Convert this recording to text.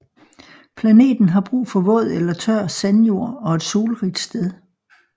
Planten har brug for våd eller tør sandjord og et solrigt sted